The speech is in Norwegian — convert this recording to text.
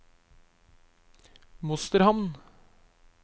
Mosterhamn